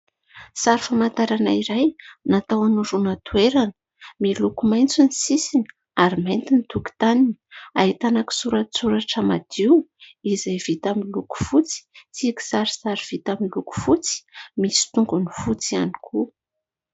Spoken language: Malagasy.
Sary famantarana iray natao hanoroana toerana. Miloko maitso ny sisiny ary mainty ny tokontaniny. Ahitana kisoratsoratra madio izay vita amin'ny loko fotsy, sy kisarisary vita amin'ny loko fotsy, misy tongony fotsy ihany koa.